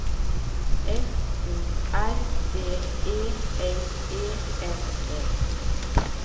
F O R D E L E N E